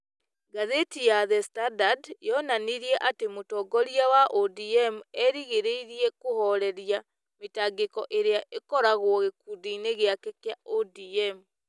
Ngathĩti ya The Standard yonanirie atĩ mũtongoria wa ODM erĩgĩrĩirĩ kũhooreria mĩtangĩko ĩrĩa ĩkoragwo gĩkundi-inĩ gĩake kĩa ODM